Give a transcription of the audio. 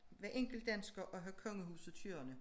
Hver enkelt dansker at have kongehuset kørende